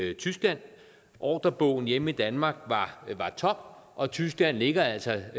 i tyskland ordrebogen hjemme i danmark var tom og tyskland ligger altså